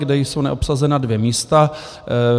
kde jsou neobsazena dvě místa.